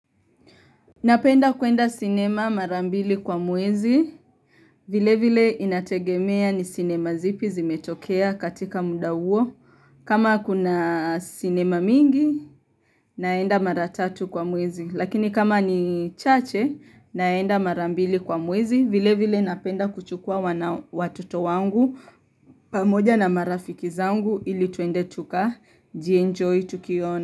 Napenda kuenda cinema marambili kwa muwezi. Vile vile inategemea ni cinema zipi zimetokea katika muda huo. Kama kuna cinema mingi naenda maratatu kwa muwezi. Lakini kama ni chache naenda marambili kwa muwezi. Vile vile napenda kuchukua watoto wangu pamoja na marafiki zangu ili tuende tuka jienjoy tukiona.